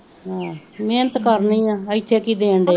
ਆਹ ਮੇਨਤ ਕਰਨੀ ਆ ਇਥੇ ਕਿ ਦੇਣ ਡੇ